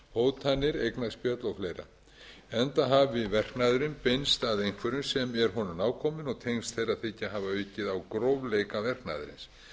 hótanir eignaspjöll og fleira enda hafi verknaðurinn beinst að einhverjum sem er honum nákominn og tengsl þeirra þykja hafa aukið á grófleika verknaðarins